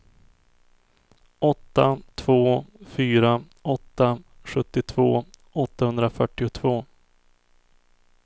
åtta två fyra åtta sjuttiotvå åttahundrafyrtiotvå